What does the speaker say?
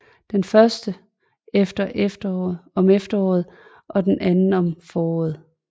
Den første om efteråret og den anden om foråret